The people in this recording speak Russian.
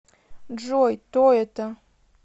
джой то это